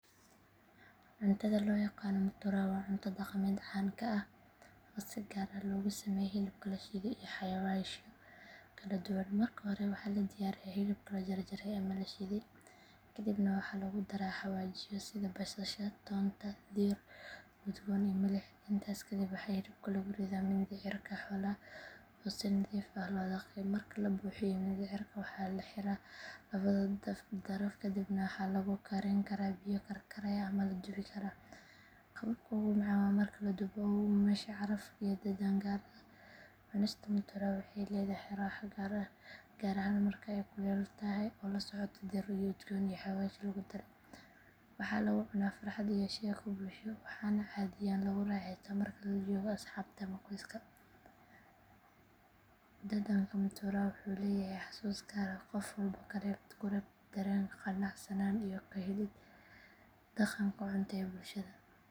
Cuntada loo yaqaan mutura waa cunno dhaqameed caan ka ah oo si gaar ah loogu sameeyo hilibka la shiido iyo xawaashyo kala duwan. Marka hore waxaa la diyaariyaa hilibka la jarjaray ama la shiiday, kadibna waxaa lagu daraa xawaashyo sida basasha, toonta, dhir udgoon iyo milix. Intaas kadib waxaa hilibkii lagu ridaa mindhicirka xoolaha oo si nadiif ah loo dhaqay. Marka la buuxiyo mindhicirka, waxaa la xiraa labada daraf kadibna waxaa lagu karin karaa biyo karkaraya ama la dubi karaa. Qaabka ugu macaan waa marka la dubo oo uu yeesho caraf iyo dhadhan gaar ah. Cunista mutura waxay leedahay raaxo gaar ah gaar ahaan marka ay kulul tahay oo la socoto dhir udgoon iyo xawaash lagu daray. Waxaa lagu cunaa farxad iyo sheeko bulsho waxaana caadiyan lagu raaxeystaa marka lala joogo asxaabta ama qoyska. Dhadhanka mutura wuxuu leeyahay xasuus gaar ah oo qof walba ku reebta dareen qanacsanaan iyo ka helid dhaqanka cunto ee bulshada.